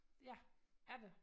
Ja er det